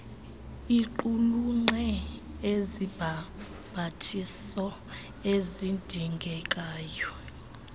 iqulunqe izibhambathiso ezidingekayo